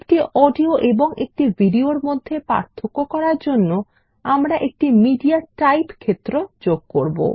একটি অডিও এবং একটি ভিডিও এর মধ্যে পার্থক্য করার জন্য আমরা একটি মিডিয়াটাইপ ক্ষেত্র যোগ করব